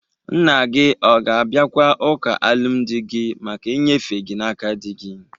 Nna gi ọ ga-abịakwa ụka alụmdị gi maka inyefe gi n'aka dị gi?